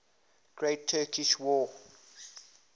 great turkish war